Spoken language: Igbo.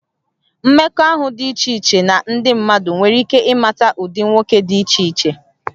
Mmekọahụ dị iche iche na ndị mmadụ nwere ike ịmata ụdị nwoke dị iche iche